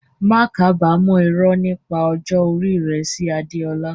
Má kábàámọ̀ irọ́ nípa ọjọ́ orí rẹ sí Adeola.